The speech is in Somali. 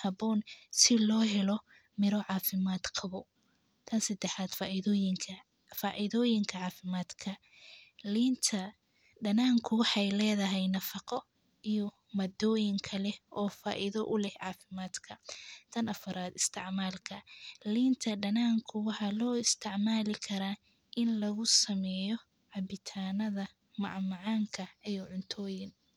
haboon, si lohelo miiro cafimaad qawo, tan sadaxaad waa faidoyinka cafimaadka, lintaa daananku wexeey ledahay nafaaqo iyo madoyiin kalee o faiida uleh cafimaad ka, tan afaraad isticmaalka liinta dananku waxaa lo isticmaali karaa ini lagusameyo cabitanadha mac macankaa iyo cuntoyiin.